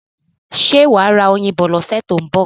Ṣé wà á ra oyin bọ ní ọ̀sẹ̀ tó ń bọ̀?